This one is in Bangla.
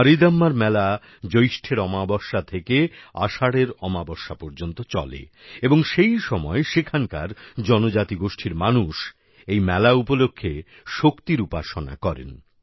মারীদম্মার মেলা জ্যৈষ্ঠের অমাবস্যা থেকে আষাঢ়ের অমাবস্যা পর্যন্ত চলে এবং সেই সময় সেখানকার জনজাতিগোষ্ঠীর মানুষ এই উৎসব উপলক্ষে শক্তির উপাসনা করেন